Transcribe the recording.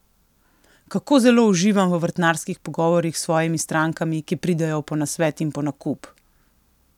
Kako zelo uživam v vrtnarskih pogovorih s svojimi strankami, ki pridejo po nasvet in po nakup!